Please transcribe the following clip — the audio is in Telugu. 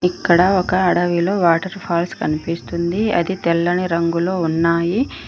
ఇక్కడ ఒక అడవిలో వాటర్ ఫాల్స్ కనిపిస్తుంది అది తెల్లని రంగులో ఉన్నాయి.